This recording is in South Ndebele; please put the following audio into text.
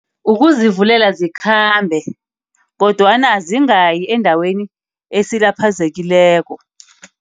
Ukuzivulela zikhambe, kodwana zingayi endaweni esilaphazekileko.